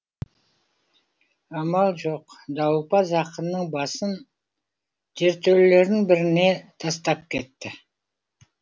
амал жоқ дауылпаз ақынның басын жертөлелердің біріне тастап кетті